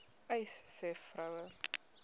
uys sê vroue